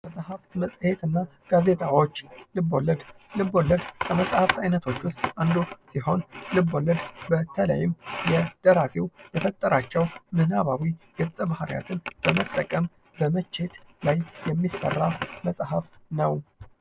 መጽሐፍት መጽሄት እና ጋዜጣዎች ልብ ወለድ ልብ ወለድ ከመጽሐፍ አይነቶች ውስጥ አንዱ ሲሆን ልብወለድ በተለይም የደራሲ የፈጠራቸው ምናባዊ ገጽ ባህሪያትን በመጠቀም በመቼት ላይ የሚሠራ መጽሐፍ ነው።